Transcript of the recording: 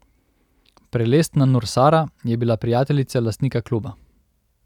Prelestna Nursara je bila prijateljica lastnika kluba.